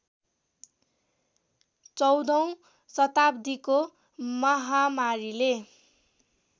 १४औं शताब्दीको महामारीले